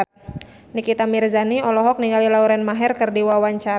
Nikita Mirzani olohok ningali Lauren Maher keur diwawancara